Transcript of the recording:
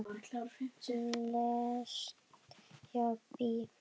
Lengst hjá BÍ.